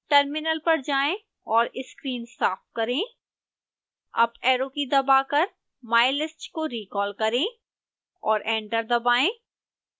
terminal पर जाएं और स्क्रीन साफ करें अप ऐरो की दबाकर mylist को रिकॉल करें और एंटर दबाएं